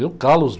Deu calos.